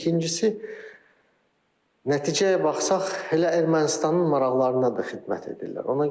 İkincisi nəticəyə baxsaq elə Ermənistanın maraqlarına da xidmət edirlər.